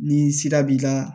Ni sira b'i ka